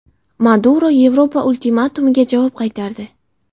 Maduro Yevropa ultimatumiga javob qaytardi.